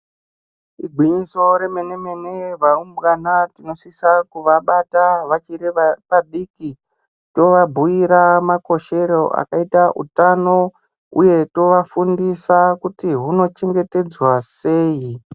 Igwinyiso remene mene varumbwana tinosisa kuvabata vachiri vadiki tovabhuyira makoshero akaita utano uye tovafundisa kuti hunochengetedzwa sei.